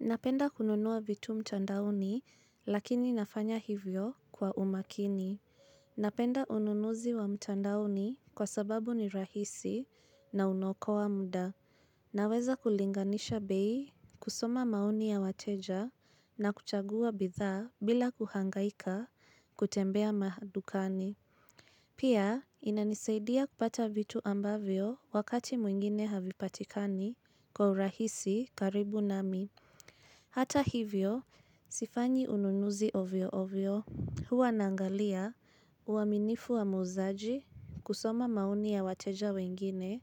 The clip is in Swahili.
Napenda kununua vitu mtandaoni lakini nafanya hivyo kwa umakini. Napenda ununuzi wa mtandaoni kwa sababu ni rahisi na unaokoa muda. Naweza kulinganisha bei kusoma mauni ya wateja na kuchagua bidhaa bila kuhangaika kutembea mahadukani. Pia inanisaidia kupata vitu ambavyo wakati mwingine havipatikani kwa urahisi karibu nami. Hata hivyo, sifanyi ununuzi ovyo ovyo huwa nangalia uaminifu wa muzaji kusoma mauni ya wateja wengine